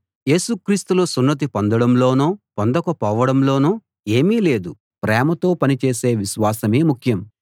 యేసు క్రీస్తులో సున్నతి పొందడంలోనో పొందకపోవడంలోనో ఏమీ లేదు ప్రేమతో పని చేసే విశ్వాసమే ముఖ్యం